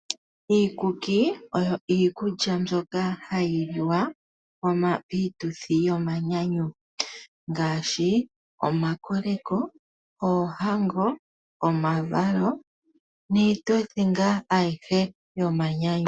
Iikuki oyo iikulya mbyoka hayi liwa piituthi yomanyanyu ngaashi omakoleko, oohango, omavalo niituthi ngaa ayihe yomanyanyu.